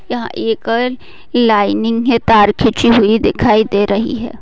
यहा लाइनिंग है तार खिची हुई दिखाई दे रही है।